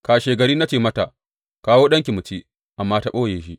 Kashegari na ce mata, Kawo ɗanki mu ci,’ amma ta ɓoye shi.